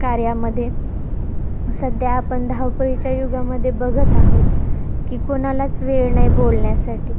कार्यामध्ये, सध्या आपण धावपळीच्या युगामध्ये बघत आहोत, कि, कोणालाच वेळ नाहीये बोलण्यासाठी.